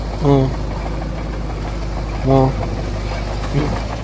હ હ હમ